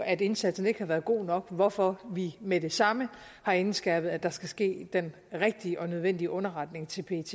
at indsatsen ikke har været god nok hvorfor vi med det samme har indskærpet at der skal ske den rigtige og nødvendige underretning til pet